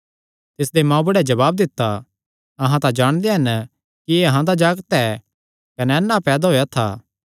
तिसदे मांऊबुढ़े जवाब दित्ता अहां तां जाणदे हन कि एह़ अहां दा जागत ऐ कने अन्ना पैदा होएया था